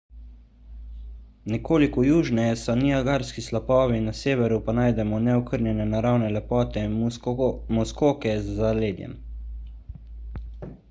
nekoliko južneje so niagarski slapovi na severu pa najdemo neokrnjene naravne lepote muskoke z zaledjem